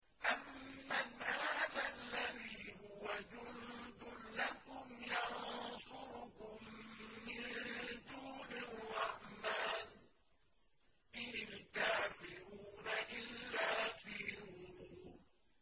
أَمَّنْ هَٰذَا الَّذِي هُوَ جُندٌ لَّكُمْ يَنصُرُكُم مِّن دُونِ الرَّحْمَٰنِ ۚ إِنِ الْكَافِرُونَ إِلَّا فِي غُرُورٍ